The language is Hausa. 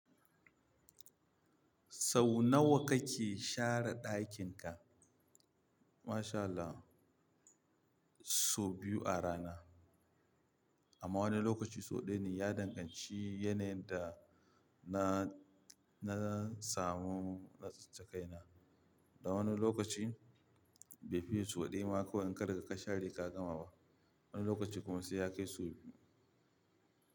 Sau nawa kake share ɗakin ka? Masha Allah, sau biyu a rana. Amma wani lokaci sau ɗaya ne. Ya danganci yanayin da na, na samu na tsattsake na. Da wani lokaci bai fiye sau ɗaya ma ko in karka ka share ka gama ba. Wani lokaci kuma sai ya kai sau biyu.